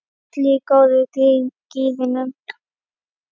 Allir í góða gírnum.